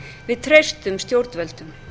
við treystum stjórnvöldum